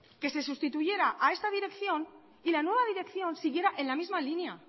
que se sustituyera a esta dirección y la nueva dirección siguiera en la misma línea